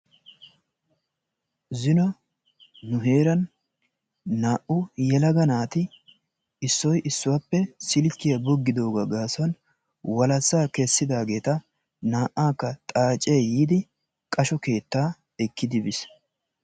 Zino nu heeran naa'u yelaga naati issoy issuwaape silkkiyaa boggidoogaa gaasuwan walassa kessidaageeta naa'aakka xaacee yiidi qasho keettaa ekkidi biis.